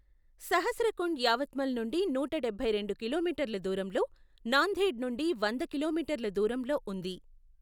సహస్రకుండ్ యావత్మల్ నుండి నూట డబ్బై రెండు కిలోమీటర్ల దూరంలో, నాందేడ్ నుండి వంద కిలోమీటర్ల దూరంలో ఉంది.